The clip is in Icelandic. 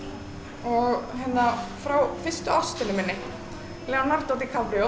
og hérna frá fyrstu ástinni minni Leonardo